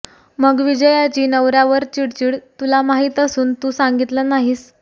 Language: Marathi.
मग विजयाची नवर्यावर चिडचिड तुला माहित असून तू सांगितलं नाहीस